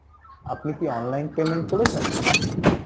আপনি কি online payment করেছেন?